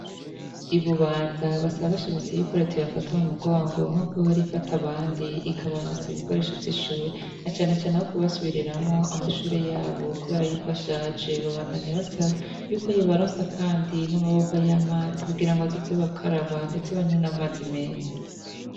I Bubanza basaba bashimitse ko reta yobafata mu mugongo nkuko ihora afata abandi ikabaronsa ibikoresho vy'ishure na canecane nko kubasubiriramwo amashure yabo kubera yuko ashaje, babandanya basaba yuko yobaronsa kandi n'amabomba y'amazi kugira ngo bazoze barakaraba ndetse banywe n'amazi meza.